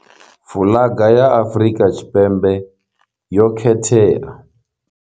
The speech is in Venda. Fuḽaga ya Afrika Tshipembe yo khethea.